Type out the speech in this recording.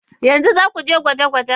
Yanzu za ku je gwajin-gwaje?